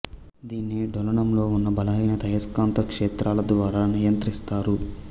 దీన్ని డోలనంలో ఉన్న బలహీన అయస్కాంత క్షేత్రాల ద్వారా నియంత్రిస్తారు